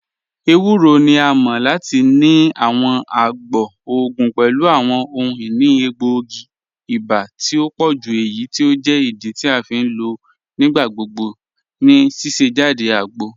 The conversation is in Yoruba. Ẹwùrọ̀ ni à mọ̀ lati ni àwọn àgbọ̀ ogun pẹ̀lú àwọn ọhun-inì ègbóogi iba tì o pọ̀jú eyí tí o jẹ́ ìdí tí a fi n lọ nígbàgbọ̀gbọ̀ ní síṣẹ̀jádẹ̀ àgbọ̀.